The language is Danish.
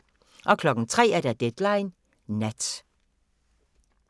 03:00: Deadline Nat